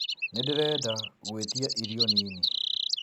nĩndĩrenda gũĩtĩaĩrĩo nini